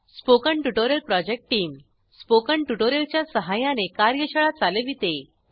spoken tutorial project team spoken tutorial च्या सहाय्याने कार्यशाळा चालविते